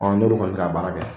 Ɔ n'olu kɔni bɛ ka baara kɛ